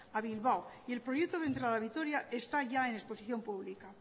a bilbao y el proyecto de entrada a vitoria está ya en exposición pública